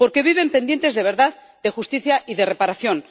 Porque viven pendientes de verdad, de justicia y de reparación.